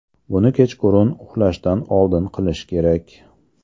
Buni kechqurun uxlashdan oldin qilish kerak.